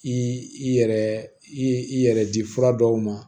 I yɛrɛ i yɛrɛ di fura dɔw ma